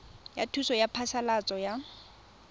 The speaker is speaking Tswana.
ya thuso ya phasalatso ya